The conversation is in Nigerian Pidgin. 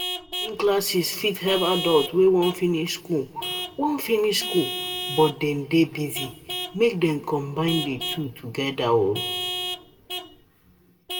Evening classes fit help adults wey wan finish school wan finish school but dey busy make Dem combine di two together.